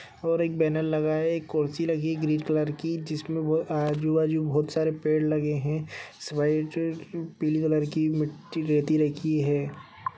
और एक बैनल लगा है ए कुर्सी लगी ग्रीन कलर की जिसमें वो आजू-बाजू बहुत सारे पेड़ लगे हैं पीली कलर की मिट्टी रेती रखी है।